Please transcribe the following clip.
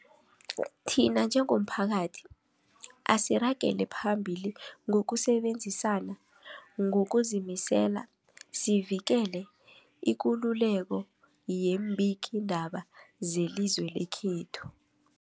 Thina njengomphakathi, asiragele phambili ngokusebenzisana ngokuzimisela sivikele ikululeko yeembikiindaba zelizwe lekhethu.